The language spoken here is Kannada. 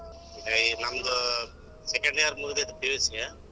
ಬೈ~ ನಂದು second year ಮೂಗ್ದಿತ್ತು PUC .